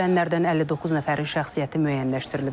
Ölənlərdən 59 nəfərin şəxsiyyəti müəyyənləşdirilib.